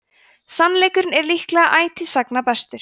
sannleikurinn er líklega ætíð sagna bestur